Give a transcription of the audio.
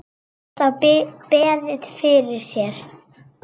Er þá beðið fyrir sér.